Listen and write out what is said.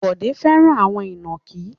Bọ̀dé fẹ́ràn àwọn ìnàkí.